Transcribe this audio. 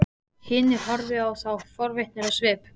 Hinir horfðu á þá forvitnir á svip.